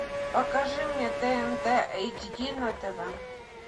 покажи мне тнт эйч ди на тв